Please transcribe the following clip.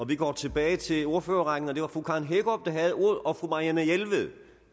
vi går tilbage til ordførerrækken og det var fru karen hækkerup der havde ordet og fru marianne jelved